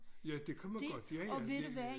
Ja det kan man godt ja ja det er